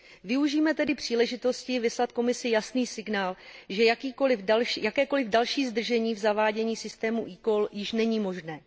Využijme tedy příležitosti vyslat Komisi jasný signál, že jakékoliv další zdržení v zavádění systému eCall již není možné.